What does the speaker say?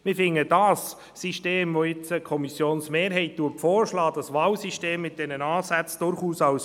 Wir denken, das System, welches die Kommissionsmehrheit nun vorschlägt, das Wahlsystem mit diesen Ansätzen, sei durchaus fair.